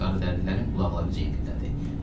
Qaradərililərin qulaqları cin dildə idi.